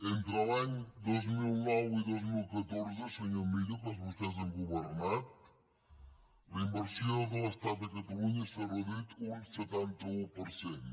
entre els anys dos mil nou i dos mil catorze senyor millo que vostès han governat la inversió de l’estat a catalunya s’ha reduït un setanta un per cent